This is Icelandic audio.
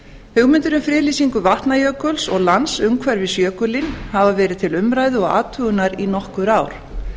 hugmyndir um friðlýsingu vatnajökuls og lands umhverfis jökulinn hafa verið til umræðu og athugunar í nokkur ár